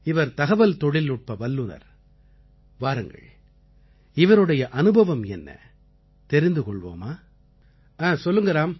இவர் தகவல் தொழில்நுட்ப வல்லுநர் வாருங்கள் இவருடைய அனுபவம் என்ன தெரிந்து கொள்வோமா சொல்லுங்க ராம்